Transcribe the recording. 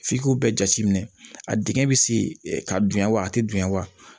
F'i k'o bɛɛ jate minɛ a dingɛ bɛ se ka dunya wa a tɛ dunya wa